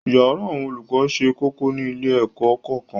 yàrá àwọn olùkọ sé kókó ní ilé-ẹ̀kọ́ kọ̀ọ̀kan